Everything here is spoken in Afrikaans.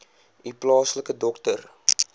u plaaslike dokter